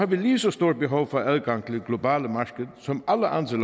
vi lige så stort behov for adgang til det globale marked som alle andre